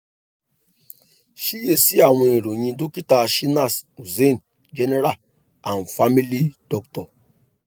ṣiyesi awọn iroyin dokita shinas hussain general and family doctor